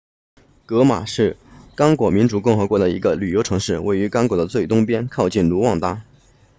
戈马是刚果民主共和国的一个旅游城市位于刚果的最东边靠近卢旺达